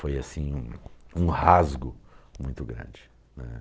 Foi um um rasgo muito grande, né.